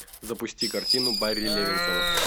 запусти картину барри левинсона